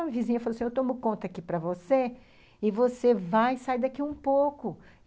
A vizinha falou assim, eu tomo conta aqui para você, e você vai sair daqui um pouco.